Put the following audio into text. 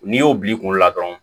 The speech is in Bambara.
N'i y'o bil'i kunkolo la dɔrɔn